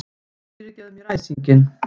Fyrirgefðu mér æsinginn.